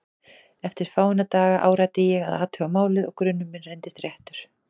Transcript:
Eftir fáeina daga áræddi ég að athuga málið og grunur minn reyndist réttur.